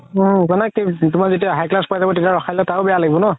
উম মানে তুমাৰ যেতিয়া high class পাই যাব তেতিয়া ৰখাই দিলে আৰু বেয়া লাগিব ন